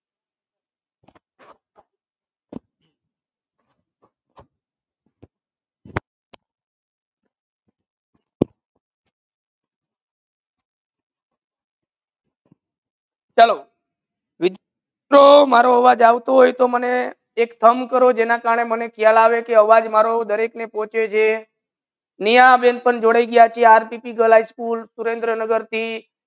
ચલો તો મારો અવાજ આવતો હોય તો મને એક stumb કરો જેના કરને મને ખયાલ આવે કે આવાજ મારો ડરેક ને પોચે છે નેહા બેન પણ જોડાઈ ગઈ છે rtp girl high school Surendranagar થી